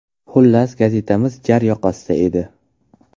Xullas, gazetamiz jar yoqasida edi.